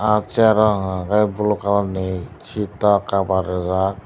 ah chair o hwnka hwnkhe blue colourni seat o cover rijak.